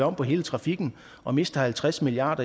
om på hele trafikken og mister halvtreds milliard